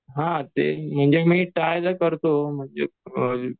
हां ते ही मी म्हणजे मी ट्राय तर करतो